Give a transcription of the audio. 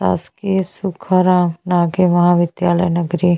शासकीय सुखराम नागे महाविद्यालय नगरी--